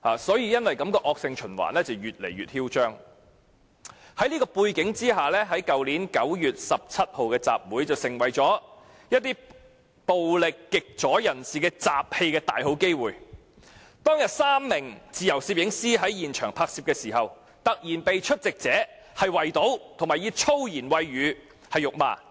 在此背景下，去年9月17日的集會便成為暴力極左人士滋事的大好機會。當天，有3名自由攝影師在現場拍攝時，突然被出席者圍堵及以粗言穢語辱罵。